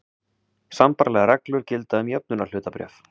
Sambærilegar reglur gilda um jöfnunarhlutabréf.